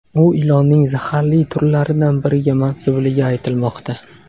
U ilonning zaharli turlaridan biriga mansubligi aytilmoqda.